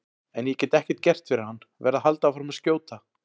En ég get ekkert gert fyrir hann, verð að halda áfram að skjóta.